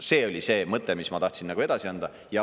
See oli see mõte, mis ma tahtsin edasi anda.